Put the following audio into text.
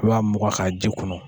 I b'a mugan k'a ji kunu.